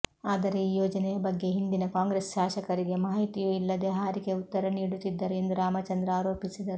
ಆದರೆ ಈ ಯೋಜನೆಯ ಬಗ್ಗೆ ಹಿಂದಿನ ಕಾಂಗ್ರೆಸ್ ಶಾಸಕರಿಗೆ ಮಾಹಿತಿಯೂ ಇಲ್ಲದೆ ಹಾರಿಕೆ ಉತ್ತರ ನೀಡುತ್ತಿದ್ದರು ಎಂದು ರಾಮಚಂದ್ರ ಆರೋಪಿಸಿದರು